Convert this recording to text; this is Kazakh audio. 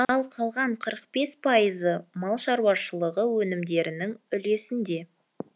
ал қалған қырық бес пайызы мал шаруашылығы өнімдерінің үлесінде